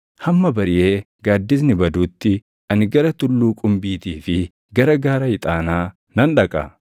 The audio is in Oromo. Hamma bariʼee gaaddisni baduutti, ani gara tulluu qumbiitii fi gara gaara ixaanaa nan dhaqa.